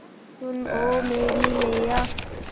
सुन ओ मेरी मैय्या